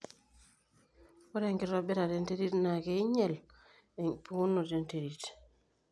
ore enkitobirata enterit naa keing'iel empikunoto e nterit